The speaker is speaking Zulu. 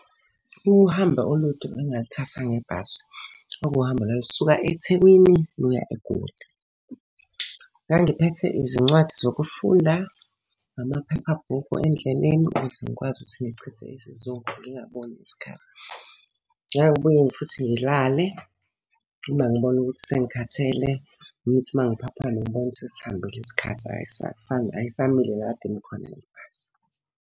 Uhambo olude engalithatha ngebhasi. Kwakuhambo olalusuka eThekwini luya eGoli. Ngangiphethe izincwadi zokufunda, namaphephabhukhi endleleni ukuze ngikwazi ukuthi ngichithe isizungu ngingaboni isikhathi. Ngangibuye futhi ngilale uma ngibona ukuthi sengikhathele, ngithi uma ngiphaphama ngibone ukuthi sihambile isikhathi ayisafani ayisamile la ekade imi khona le bhasi.